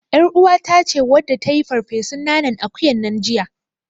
ƳarUwata ce wadda ta yi farfesun nanan akuyan nan jiya.